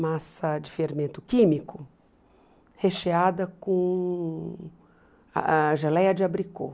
massa de fermento químico recheada com a geleia de abricô.